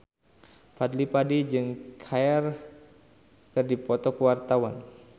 Fadly Padi jeung Cher keur dipoto ku wartawan